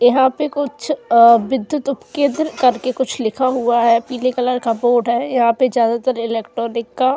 यहां पर कुछ विद्युत उपकेंद्र कर के कुछ लिखा हुआ है पीले कलर का बोर्ड है। यहां पर ज्यादा तर इलेक्ट्रॉनिक का --